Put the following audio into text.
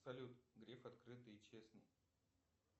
салют гриф открытый и честный